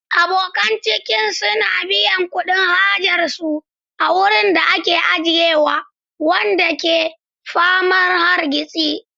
Abokan ciniki sun biya kuɗin hajar su a wurin da ake ajiyewa, wanda ke ta faman hargitsi.